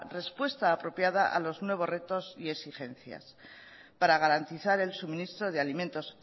respuesta apropiada a los nuevos retos y exigencias para garantizar el suministro de alimentos